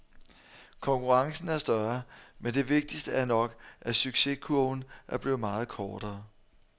Konkurrencen er større, men det vigtigste er nok, at succeskurven er blevet meget kortere.